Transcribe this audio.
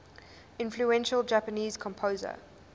influential japanese composer